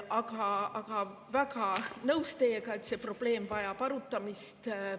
Aga olen väga nõus teiega, et see probleem vajab arutamist.